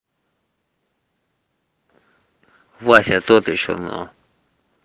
вася тот ещё но